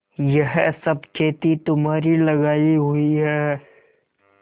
यह सब खेती तुम्हारी लगायी हुई है